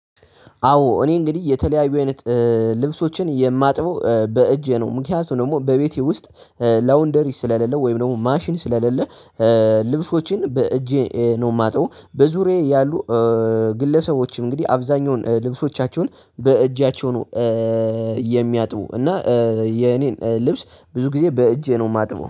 አዎ እኔ እንግዲህ የተለያዩ አይነት ልብሶችን የማጥብው በእጄ ነው ምክንያቱም ደግሞ በቤቴ ውስጥ ላውንደሪ ስለሌለው ወይም ደግሞ ማሽን ስለሌለው ልብሶችን በእጄ ነው የማጥበው በዙሪያዬ ያሉ ግለሰቦች እንግዲህ አብዛኛውን ልብሶቻቸውን በእጃቸው ነው የሚያጥቡ እና የኔን ልብስ ብዙ ጊዜ በእጄ ነው የማጥበው